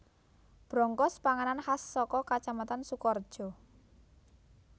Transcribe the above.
Brongkos panganan khas saka Kacamatan Sukorejo